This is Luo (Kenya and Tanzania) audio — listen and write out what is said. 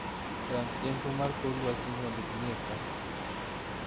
Rang chenro mar kor lwasi mondo ineka